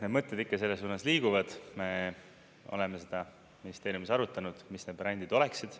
Eks mõtted ikka selles suunas liiguvad, me oleme seda ministeeriumis arutanud, mis need brändid oleksid.